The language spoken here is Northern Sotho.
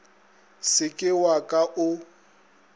se ke wa ka o